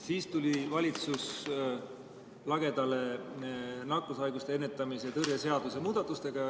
Siis tuli valitsus lagedale nakkushaiguste ennetamise ja tõrje seaduse muudatustega.